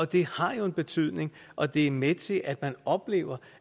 det har en betydning og det er med til at man oplever